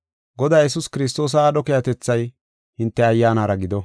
Godaa Yesuus Kiristoosa aadho keehatethay hinte ayyaanara gido.